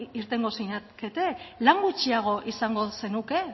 irtengo zinateke lau gutxiago izango zenuke